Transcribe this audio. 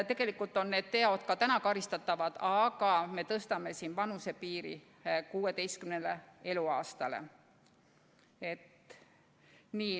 Tegelikult on need teod praegugi karistatavad, aga me tõstame siin vanusepiiri 16. eluaastani.